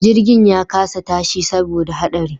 Jirgin ya kasa tashi saboda haɗari